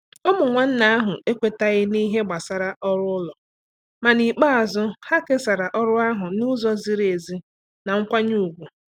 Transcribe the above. Ụmụ nwanne ahụ ekwetaghị n’ihe gbasara ọrụ ụlọ, ma n'ikpeazụ, ha kesara ọrụ ahụ n'ụzọ ziri ezi na nkwanye ùgwù.